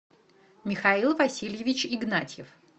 михаил васильевич игнатьев